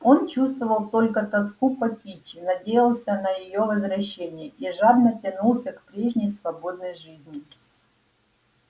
он чувствовал только тоску по кичи надеялся на её возвращение и жадно тянулся к прежней свободной жизни